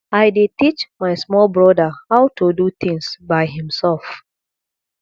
i dey teach my small brother how to do things by himself